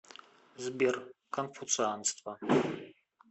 сбер конфуцианство